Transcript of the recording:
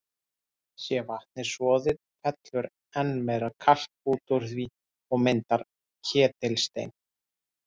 Sé vatnið soðið, fellur enn meira kalk út úr því og myndar ketilstein.